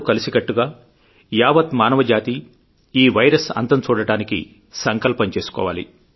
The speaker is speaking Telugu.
కలిసికట్టుగా యావత్ మానవజాతీ ఈ వైరస్ అంతంచూడడానికి సంకల్పం చేసుకోవాలి